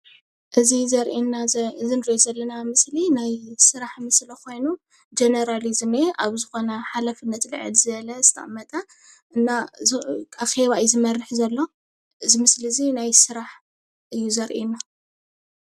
እዚ እንሪኦ ዘለና ምስሊ ናይ ስራሕ ምስሊ ኮይኑ ጀነራል እዩ ዝኒሀ ኣብ ዝኮነ ሓላፍነት ልዕል ዝበለ ዝተቀመጠ እና ኣኬባ እዩ ዝመርሕ ዘሎ እዚ ምስሊ እዚ ናይ ስራሕ እዩ ዘርእየና፡፡